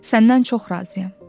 Səndən çox razıyam.